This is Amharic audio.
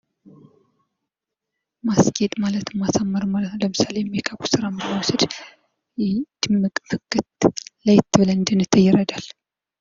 ማስጌጥ ማለት ማሳመር ማለት ነው። ለምሳሌ ሜካፕ ስራን ብንወስድ ድምቅ ፍክት ለየት ብለን እንድንታይ ይረዳል።